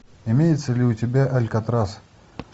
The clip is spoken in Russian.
имеется ли у тебя алькатрас